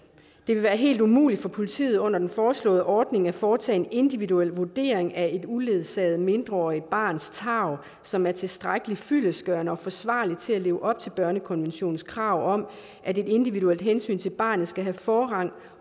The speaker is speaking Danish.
det vil være helt umuligt for politiet under den foreslåede ordning at foretage en individuel vurdering af et uledsaget mindreårigt barns tarv som er tilstrækkelig fyldestgørende og forsvarligt til at leve op til børnekonventionens krav om at et individuelt hensyn til barnet skal have forrang